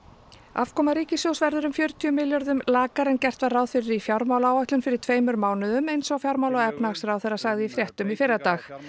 afkoma ríkissjóðs verður um fjörutíu milljörðum lakari en gert var ráð fyrir í fjármálaáætlun fyrir tveimur mánuðum eins og fjármála og efnahagsráðherra sagði í fréttum í fyrradag